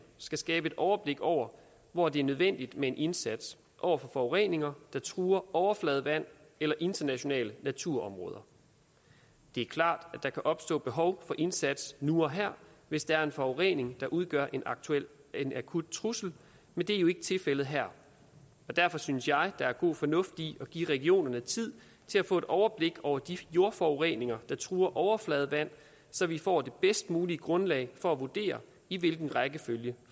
skal skabe et overblik over hvor det er nødvendigt med en indsats over for forureninger der truer overfladevand eller internationale naturområder det er klart at der kan opstå behov for indsats nu og her hvis der er en forurening der udgør en akut trussel men det er jo ikke tilfældet her derfor synes jeg at der er god fornuft i at give regionerne tid til at få et overblik over de jordforureninger der truer overfladevand så vi får det bedst mulige grundlag for at vurdere i hvilken rækkefølge